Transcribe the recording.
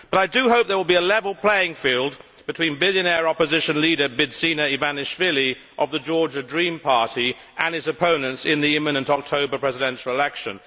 But I do hope there will be a level playing field between billionaire opposition leader Bidzina Ivanishvili, of the Georgian Dream party, and his opponents in the imminent October presidential election.